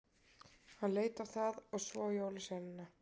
Hann leit á það og svo á jólasveinana.